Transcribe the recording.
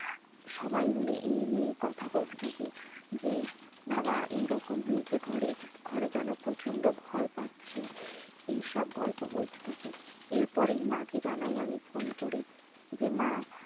সবাই মিলে এই নিয়ে কথা বলতে থাকে যে বাবা এরকম হয়েছে ঘরে ঘরে যেন প্রচন্ড ভয়ে পারছি এই সব গল্প বলতে থাকে এরপরে মা কে জানাই আমি ফোন করে যে মা